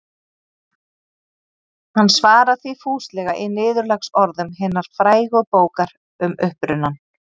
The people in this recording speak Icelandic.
Hann svarar því fúslega í niðurlagsorðum hinnar frægu bókar Um upprunann.